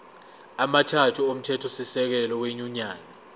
amathathu omthethosisekelo wenyunyane